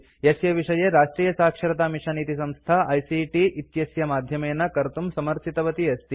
यस्य विषये राष्ट्रियसाक्षरतामिशन् इति संस्था आईसीटी आइसीटि इत्यस्य माध्यमेन कर्तुं समर्थितवती अस्ति